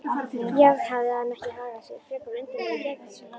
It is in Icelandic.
Já, hafði hann ekki hagað sér frekar undarlega í gærkvöld?